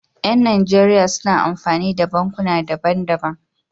Yan nigeria suna amfani da bankuna daban daban